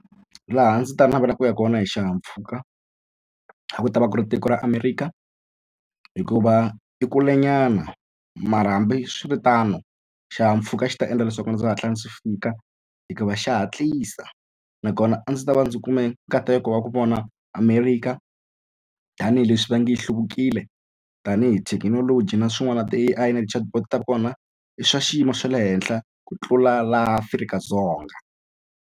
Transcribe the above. Laha ndzi ta navelaka ku ya kona hi xihahampfhuka a ku ta va ku ri tiko ra Amerika hikuva i kulenyana mara hambiswiritano xihahampfhuka xi ta endla leswaku ndzi hatla ndzi fika hikuva xa hatlisa nakona a ndzi ta va ndzi kume nkateko wa ku vona Amerika tanihileswi va nge yi hlundzukile tanihi thekinoloji na swin'wana ti-A_I na ti-chatbot ta vona i swa xiyimo xa le henhla ku tlula laha Afrika-Dzonga.